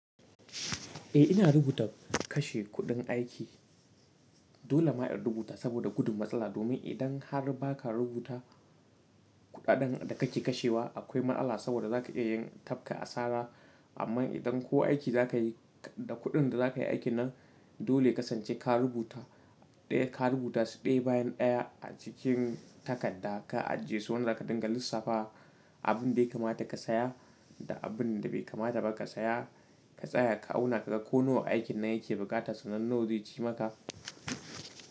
Eh ina rubuta kashe kuɗin aiki. Dole ma in rubuta saboda gudun matsala. Domin idan har ba ka rubuta kuɗaɗen da kake kashewa akwai allah saboda za ka iya yin tafka asara. Amma idan ko aiki za ka yi da kuɗin da za ka yi aiki nan dole ya sance ka rubuta ɗaya ka rubuta su ɗaya bayan ɗaya a cikin takarda ka ajiye su wanda za ka dinga lissafa abin da ya kamata ka saya da abin da bai kamata ba ka saya. Ka tsaya ka auna ka ga ko nawa aikin nan yake bukata sannan nawa zai ci maka.